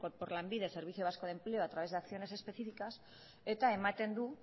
por lanbide servicio vasco de empleo a través de acciones específicas eta ematen